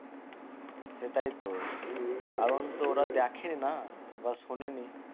সেটাই তো কারণ তো ওরা দেখে না বা শোনেনি